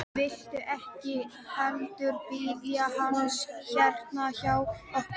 Viltu ekki heldur bíða hans hérna hjá okkur?